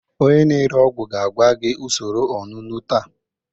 Onye na-ere ọgwụ ga-agwa gị usoro onunu taa